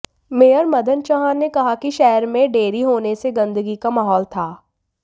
mayor Madan Chauhan ने कहा कि शहर में डेरी होने से गंदगी का माहौल था